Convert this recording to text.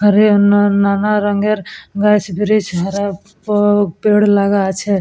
হরে আন্না নানা রংয়ের গাছ ব্রিচ হরেক পেড় লাগা আছে।